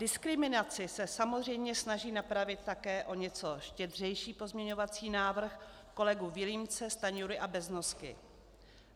Diskriminaci se samozřejmě snaží napravit také o něco štědřejší pozměňovací návrh kolegů Vilímce, Stanjury a Beznosky.